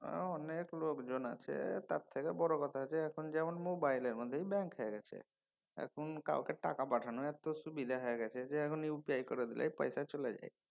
হ্যাঁ অনেক লোকজন আছে। তার থেকে বড় কথা হচ্ছে এখন যেমন মোবাইলের মধ্যেই ব্যাঙ্ক হয়া গেছে। এখন কাউকে টাকা পাঠানো এত সুবিধা হয়ে গেছে যে এখন UPI করে দিলেই পয়সা চলে যায়।